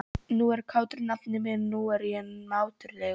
Nú er kátur nafni minn, nú er ég mátulegur.